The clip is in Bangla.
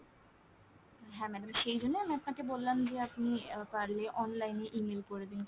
হ্যাঁ madam সেইজন্যেই আমি আপনাকে বললাম যে আপনি আহ পারলে online এ email করে দিন কাউকে